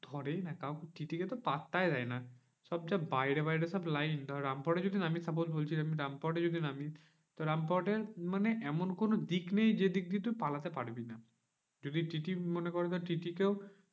ধরেই না কাউকে TTE কে তো পাত্তাই দেয় না। সব যা বাইরে বাইরে সব line ধর রামপুরহাটে যদি নামি suppose বলছি, আমি রামপুরহাটে যদি নামি তো রামপুরহাটে মানে এমন কোনো দিক নেই যেদিক দিয়ে তুই পালতে পারবি না। যদি TTE মনে করে ধর TTE কেও